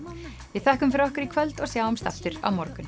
við þökkum fyrir okkur í kvöld og sjáumst aftur á morgun